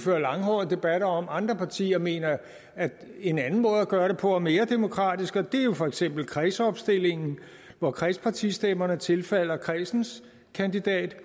føre langhårede debatter om andre partier mener at en anden måde at gøre det på er mere demokratisk og det er jo for eksempel kredsopstillingen hvor kredspartistemmerne tilfalder kredsens kandidat